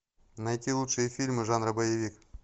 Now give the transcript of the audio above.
найти лучшие фильмы жанра боевик